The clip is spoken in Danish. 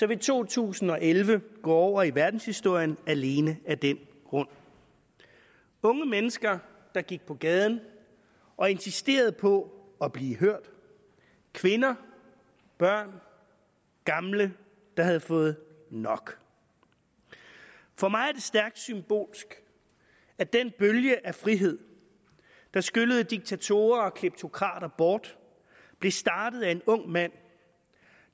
vil to tusind og elleve gå over i verdenshistorien alene af den grund unge mennesker gik på gaden og insisterede på at blive hørt kvinder børn og gamle havde fået nok for mig er det stærkt symbolsk at den bølge af frihed der skyllede diktatorer og kleptokrater bort blev startet af en ung mand